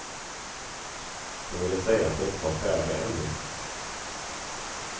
Hon ville säga att de inte var färdiga ännu.